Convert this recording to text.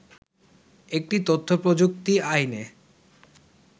একটি তথ্য প্রযুক্তি আইনে